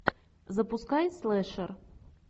запускай слешер